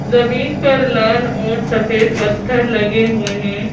जमीन पर लाल और सफेद पत्थर लगे हुए हैं।